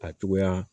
A cogoya